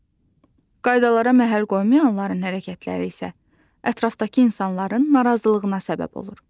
Qaydalara məhəl qoymayanların hərəkətləri isə ətrafdakı insanların narazılığına səbəb olur.